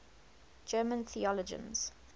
german theologians